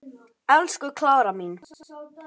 Elsku Klara mín.